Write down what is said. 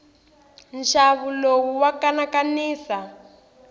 nxavo lowu wa kanakanisa